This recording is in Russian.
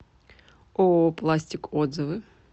ооо пластик отзывы